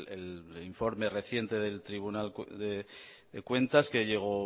el informe reciente del tribunal de cuentas que llegó